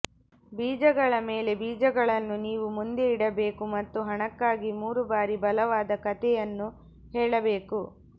ಬೀಜಗಳ ಮೇಲೆ ಬೀಜಗಳನ್ನು ನೀವು ಮುಂದೆ ಇಡಬೇಕು ಮತ್ತು ಹಣಕ್ಕಾಗಿ ಮೂರು ಬಾರಿ ಬಲವಾದ ಕಥೆಯನ್ನು ಹೇಳಬೇಕು